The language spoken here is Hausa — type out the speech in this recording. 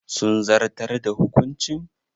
Sun zartar da hukuncin?